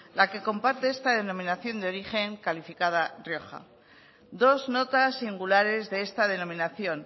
la que comparte esta denominación de origen calificada rioja dos notas singulares de esta denominación